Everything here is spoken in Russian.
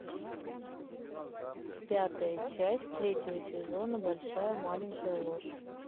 пятая часть третьего сезона большая маленькая ложь